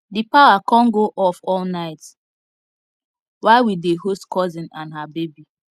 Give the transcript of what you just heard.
the power con go off all night while we dey host cousin and her baby